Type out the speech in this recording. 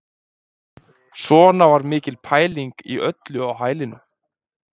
Svona var mikil pæling í öllu á hælinu